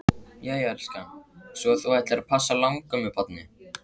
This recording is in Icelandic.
Jæja elskan, svo að þú ætlar þá að passa langömmubarnið?